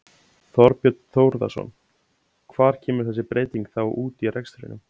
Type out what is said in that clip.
Þorbjörn Þórðarson: Hvar kemur þessi breyting þá út í rekstrinum?